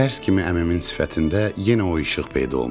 Tərs kimi əmimin sifətində yenə o işıq peyda olmuşdu.